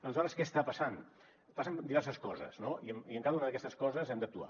aleshores què està passant passen diverses coses no i en cada una d’aquestes coses hem d’actuar